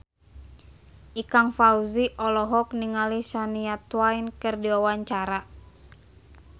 Ikang Fawzi olohok ningali Shania Twain keur diwawancara